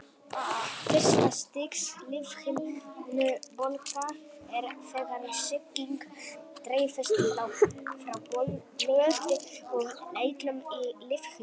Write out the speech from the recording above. Fyrsta stigs lífhimnubólga er þegar sýking dreifist frá blóði og eitlum í lífhimnuna.